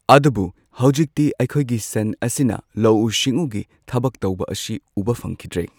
ꯑꯗꯨꯕꯨ ꯍꯧꯖꯤꯛꯇꯤ ꯑꯩꯈꯣꯏꯒꯤ ꯁꯟ ꯑꯁꯤꯅ ꯂꯧꯎ ꯁꯤꯡꯎꯒꯤ ꯊꯕꯛ ꯇꯧꯕ ꯑꯁꯤ ꯎꯕ ꯐꯪꯈꯤꯗ꯭ꯔꯦ꯫